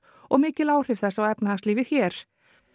og mikil áhrif þess á efnahagslífið hér